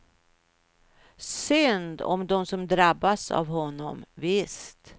Synd om dem som drabbats av honom, visst.